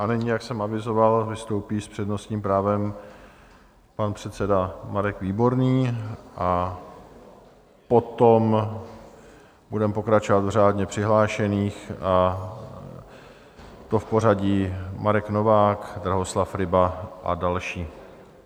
A nyní, jak jsem avizoval, vystoupí s přednostním právem pan předseda Marek Výborný a potom budeme pokračovat v řádně přihlášených, a to v pořadí Marek Novák, Drahoslav Ryba a další.